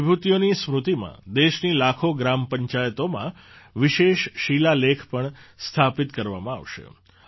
આ વિભૂતિઓની સ્મૃતિમાં દેશની લાખો ગ્રામ પંચાયતોમાં વિશેષ શિલાલેખ પણ સ્થાપિત કરવામાં આવશે